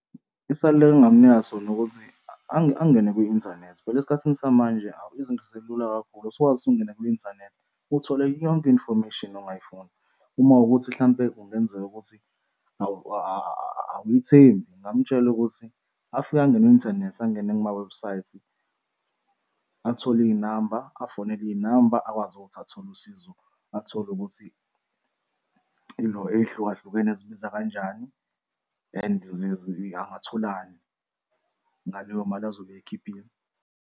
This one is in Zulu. Isaluleko engamnika naso nokuthi angene kwi-inthanethi. Phela esikhathini samanje awu, izinto sezilula kakhulu sukwazi ukuthi ukungena kwi-inthanethi uthole yonke i-information ongayifuna uma wukuthi hlampe kungenzeka ukuthi awumthembi ungamutshela ukuthi afike angene kwi-inthanethi angene kumawebhusayithi athole iy'namba afonele iy'namba akwazi ukuthi athole usizo, athole ukuthi ilo ey'hlukahlukene zibiza kanjani and angatholani ngaleyo mali azobe eyikhiphile.